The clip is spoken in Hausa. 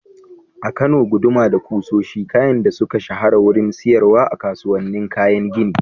A Kano, guduma da kusoshi kayan da suka shahara wurin siyarwa a kasuwannin kayan gini.